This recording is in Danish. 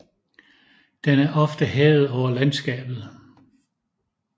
Den er ofte hævet over landskabet